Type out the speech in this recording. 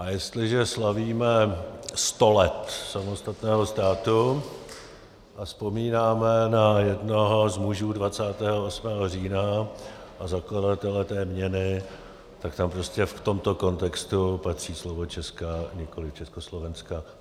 A jestliže slavíme 100 let samostatného státu a vzpomínáme na jednoho z mužů 28. října a zakladatele té měny, tak tam prostě v tomto kontextu patří slovo česká, nikoliv československá.